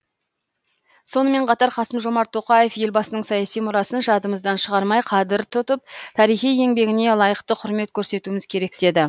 сонымен қатар қасым жомарт тоқаев елбасының саяси мұрасын жадымыздан шығармай қадір тұтып тарихи еңбегіне лайықты құрмет көрсетуіміз керек деді